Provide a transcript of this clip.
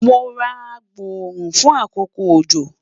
Mo ra agboorun fun akoko ojo